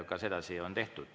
Ka sedasi on tehtud.